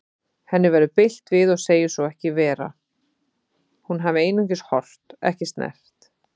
Henni verður bilt við og segir svo ekki vera, hún hafi einungis horft, ekki snert.